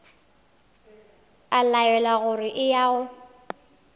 a laelwa gore eya o